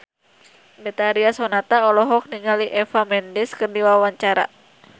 Betharia Sonata olohok ningali Eva Mendes keur diwawancara